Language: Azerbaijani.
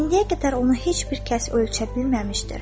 İndiyə qədər onu heç bir kəs ölçə bilməmişdir.